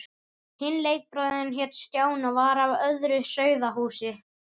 Hinn leikbróðirinn hét Stjáni og var af öðru sauðahúsi.